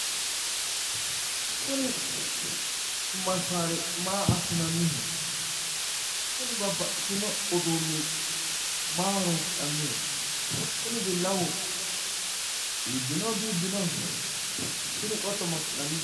Kuni massaari maa assinanniho? Kuni babbaxxitino uduunni maa ho'roonsi'nanniho? Kuni billawu iibbinohonso di iibbinoho? Tini qotto ma assinanniye?